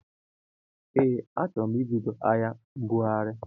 Ee achọro m ibido ahịa mbụghari.